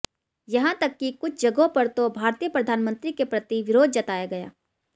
यहां तक कि कुछ जगहों पर तो भारतीय प्रधानमंत्री के प्रति विरोध जताया गया